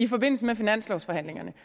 i forbindelse med finanslovforhandlingerne